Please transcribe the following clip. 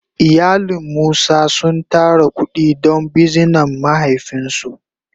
Iyalin musa sun tara kudi don bizinan mahaifin su.